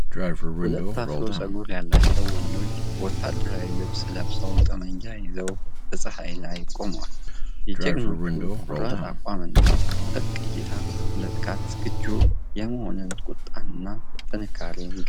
ሁለት አፍሮ ጸጉር ያላቸው ወንዶች ወታደራዊ ልብስ ለብሰው ጠመንጃ ይዘው በፀሐይ ላይ ቆመዋል። የጀግኖቹ ቆራጥ አቋምና ጥብቅ እይታ፣ ለጥቃት ዝግጁ የመሆንን ቁጣና ጥንካሬ ይገልጻል።